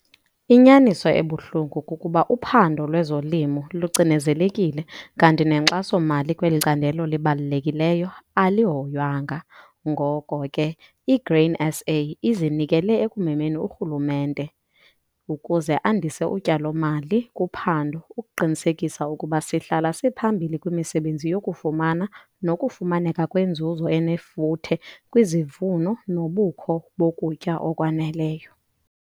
Inyaniso ebuhlungu kukuba uphando lwezolimo lucinezelekile kanti nenkxaso-mali kweli candelo libalulekileyo alihoywanga, ngoko ke iGrain SA izinikele ekumemeni urhulumente ukuze andise utyalo-mali kuphando ukuqinisekisa ukuba sihlala siphambili kwimisebenzi yokufama nokufumaneka kwenzuzo enefuthe kwizivuno nobukho bokutya okwaneleyo.